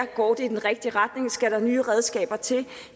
går i den rigtige retning skal nye redskaber til